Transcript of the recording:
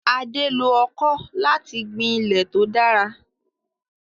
Ade lo ọkọ́ láti gbin ilẹ̀ tó dára.